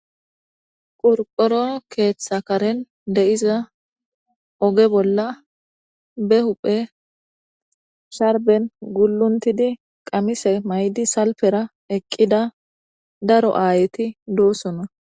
qorqorono keeththakaren de7iza oge bolla be huphe sharben guluntidi qamise maydi salpera eqqida daro aayeti doosona